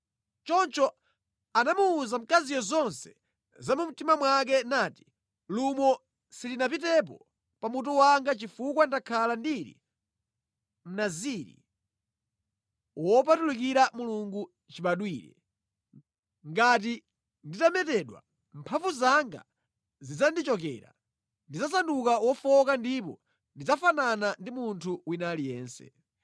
Choncho anamuwuza mkaziyo zonse za mu mtima mwake nati “Lumo silinapitepo pa mutu wanga chifukwa ndakhala ndili Mnaziri wopatulikira Mulungu chibadwire. Ngati nditametedwa mphamvu zanga zidzandichokera, ndidzasanduka wofowoka ndipo ndidzafanana ndi munthu wina aliyense.”